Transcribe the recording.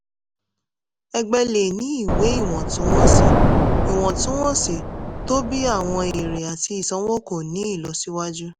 ẹgbẹ́ lè ní ìwé ìwọ̀ntúnwọ̀nsí ìwọ̀ntúnwọ̀nsí tóbi àwọn èrè àti ìsanwó kò ní ìlọsíwájú.